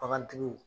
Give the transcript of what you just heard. Bagantigiw